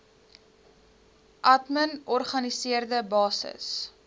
admin organiseerde basis